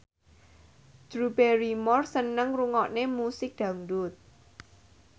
Drew Barrymore seneng ngrungokne musik dangdut